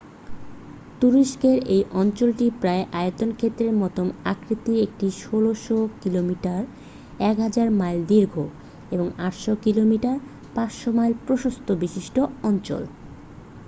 তুরস্কের এই অঞ্চলটি প্রায় আয়তক্ষেত্রের মতো আকৃতির একটি ১৬০০ কিলোমিটার ১০০০ মাইল দীর্ঘ এবং ৮০০ কিলোমিটার ৫০০ মাইল প্রস্থ বিশিষ্ট অঞ্চল।